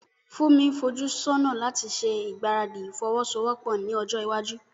Funmi ń fojú sọ́nà láti ṣe ìgbáradì ìfọwọ́sowọ́pọ̀ ní ọjọ́ iwájú.